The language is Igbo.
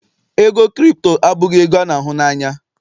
ego Kripto abụghị ego a n'ahụ na anya.